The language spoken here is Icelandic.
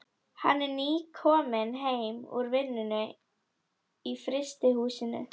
Hann er nýkominn heim úr vinnu í frystihúsinu.